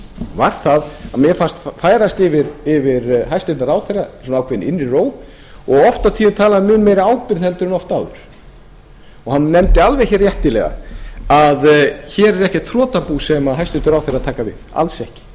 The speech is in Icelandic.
var að mér fannst færast yfir hæstvirtur ráðherra ákveðin innri ró og oft á tíðum talaði hann af mun meiri ábyrgð heldur en oft áður hann nefndi alveg réttilega að hér er ekkert þrotabú sem hæstvirtur ráðherra er að taka við alls ekki því